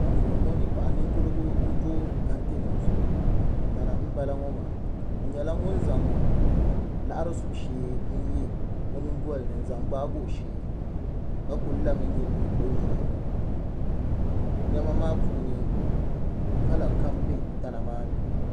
Anfooni ŋo paɣa ninkurigu n do kɛntɛ nim zuɣu tana n boŋo ŋo maa o nyɛla ŋun zaŋ laɣari subu shee n yɛ o nyingolini n zaŋ gbaagi o shee ka ku lami nyili o nyina ŋo niɛma maa puuni kala kam bɛ tana maa ni